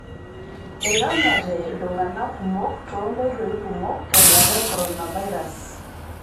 Eironyate ltung'anak kumok too nkoitoi kumok tenkata e koronavirus